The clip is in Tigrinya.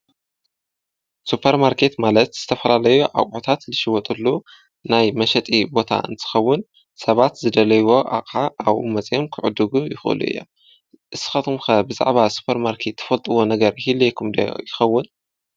ሱጰር ማርከት ማለት ዝተፈራለዩ ኣቖታት ልሽይወጡሉ ናይ መሸጢ ቦታ እንስኸውን ሰባት ዝደለይዎ ኣኻ ኣብኡ መጺኦም ክዕድጉ ይዂሉ እየ እስኻቱምከ ብዛዕባ ሱጰር ማርከት ትፈልጥዎ ነገር ኢልይኹምዶ ይኸውን።